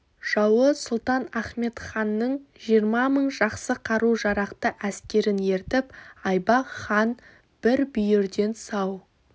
жауы сұлтан ахмет ханның жиырма мың жақсы қару-жарақты әскерін ертіп айбақ хан бір бүйірден сау